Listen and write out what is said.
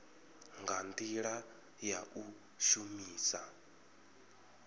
nga ndila ya u shumisa